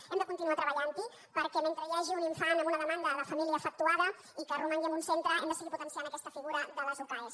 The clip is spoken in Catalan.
hem de continuar treballanthi perquè mentre hi hagi un infant amb una demanda de família efectuada i que romangui en un centre hem de seguir potenciant aquesta figura de les ucae